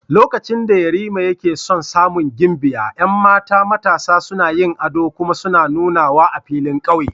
Lokacin da Yarima yake son samun gimbiya, 'yan mata matasa suna yin ado kuma suna nunawa a filin kauye.